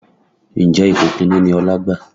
Ǹjẹ́ ipò kìíní ni Ọlá gbà?